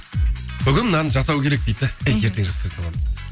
бүгін мынаны жасау керек дейді де ай ертең жасай саламын дейді